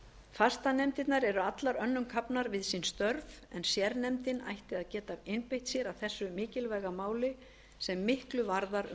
fastanefndirnar eru allar önnum kafnar við sín störf en sérnefndin ætti að geta einbeitt sér að þessu mikilvæga máli sem miklu varðar um